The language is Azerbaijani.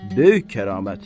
Böyük kəramət.